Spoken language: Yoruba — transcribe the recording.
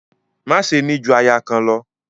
Má ṣe ni ju aya kan lọ!